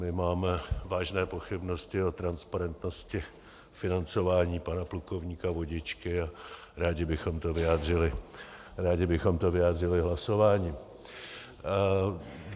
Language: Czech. My máme vážné pochybnosti o transparentnosti financování pana plukovníka Vodičky a rádi bychom to vyjádřili hlasováním.